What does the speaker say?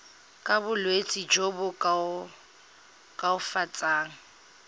ka bolwetsi jo bo koafatsang